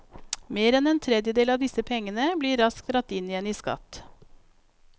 Mer enn en tredjedel av disse pengene blir raskt dratt inn igjen i skatt.